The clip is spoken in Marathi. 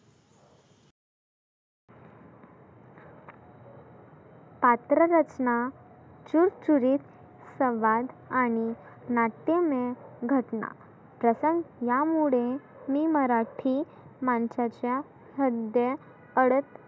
पात्र रचणा चुरचुरीत संवाद आणि नाट्यमय घटना, प्रसंग या मुळे मी मराठी माणसाच्या संध्या पडत